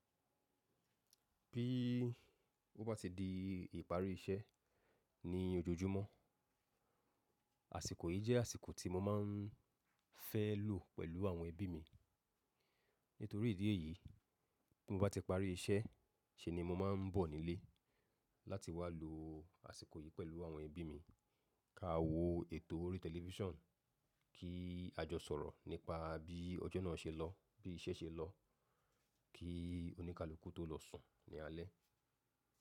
Bí ó bá ti di ìparí iṣẹ́ ní ojoojúmọ́, àsìkò yìí jẹ́ àsìkò tí mo máa ń fẹ́ lo pẹ̀lú àwọn ẹbí mi. Nítorí ìdí èyí, bí mo bá ti parí iṣẹ́, ṣe ni mo máa ń bọ̀ nílé láti wá lo àsìkò yìí pẹ̀lú àwọn ẹbí mi. Ka wo ètò orí tẹlifíṣàn, kí a jọ sọ̀rọ̀ nípa bí ọjọ́ náà ṣe lọ, bí iṣẹ́ ṣe lọ, kí oníkálukú tó lọ sùn ní alẹ́.